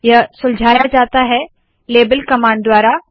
यह सुलझाया जाता है लेबल कमांड द्वारा